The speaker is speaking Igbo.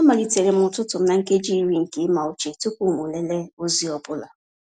Amalitere m ụtụtụ m na nkeji iri nke ịma uche tupu m lelee ozi ọ bụla.